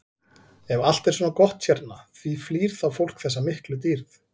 Ef allt er svona gott hérna, því flýr þá fólk þessa miklu dýrð?